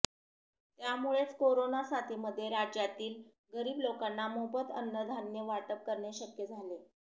त्यामुळेच कोरोना साथीमध्ये राज्यातील गरीब लोकांना मोफत अन्नधान्य वाटप करणे शक्य झाले